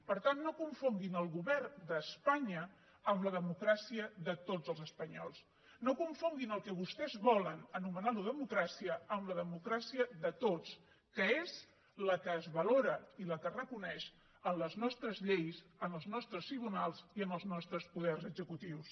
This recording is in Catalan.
per tant no confonguin el govern d’espanya amb la democràcia de tots els espanyols no confonguin el que vostès volen anomenant lo democràcia amb la democràcia de tots que és la que es valora i la que es reconeix en les nostres lleis en els nostres tribunals i en els nostres poders executius